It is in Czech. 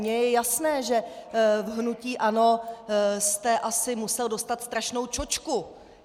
Mně je jasné, že v hnutí ANO jste asi musel dostat strašnou čočku.